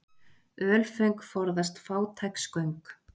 Ölföng forðast fátæks göng.